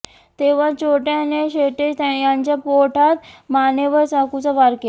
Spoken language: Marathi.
तेव्हा चोरट्याने शेटे यांच्या पोटात मानेवर चाकूचा वार केला